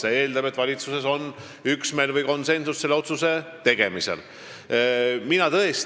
See eeldab, et valitsuses on selle otsuse tegemisel üksmeel või konsensus.